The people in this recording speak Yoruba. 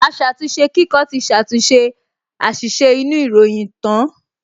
Aṣàtúnṣekíkọ ti ṣàtúnṣe àṣìṣe inú ìròyìn tán